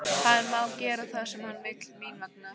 Hann má gera það sem hann vill mín vegna.